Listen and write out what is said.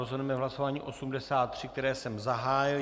Rozhodneme v hlasování 83, které jsem zahájil.